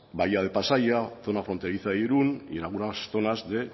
bahía de pasaia zona fronteriza de irún y algunas zonas de